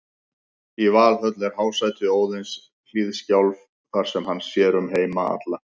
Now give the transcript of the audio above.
Í Valhöll er hásæti Óðins, Hliðskjálf, þar sem hann sér um heima alla.